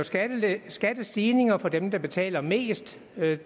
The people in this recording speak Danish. skal lave skattestigninger for dem der betaler mest